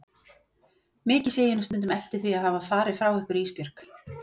Mikið sé ég nú stundum eftir því að hafa farið frá ykkur Ísbjörg.